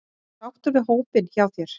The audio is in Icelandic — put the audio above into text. Ertu sáttur við hópinn hjá þér?